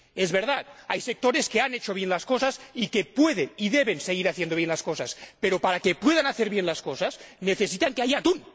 Es verdad, hay sectores que han hecho bien las cosas y que pueden y deben seguir haciendo bien las cosas, pero para que puedan hacer bien las cosas es necesario que haya atún.